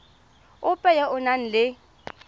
ope yo o nang le